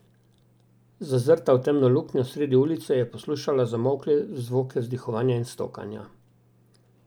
Zazrta v temno luknjo sredi ulice je poslušala zamolkle zvoke vzdihovanja in stokanja.